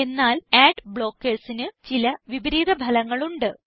എന്നാൽ അഡ് blockersന് ചില വിപരീത ഫലങ്ങൾ ഉണ്ട്